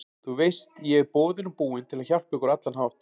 Þú veist ég er boðinn og búinn til að hjálpa ykkur á allan hátt.